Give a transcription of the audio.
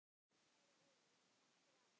Kæri Ólafur, takk fyrir allt.